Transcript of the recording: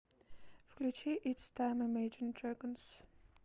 включи итс тайм имэджин дрэгонс